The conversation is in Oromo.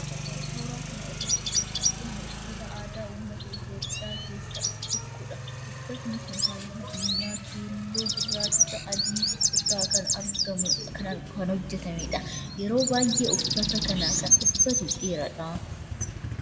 Suuraa kana irratti kan agarru uffata aadaa ummata Itiyoophiyaa keessaa isa tokkodha. Uffanni kun halluu diimaa, keelloo, gurraacha, adii irraa kan hojjetamedha. Yeroo baayyee uffata kana kan uffatu dhiira dha.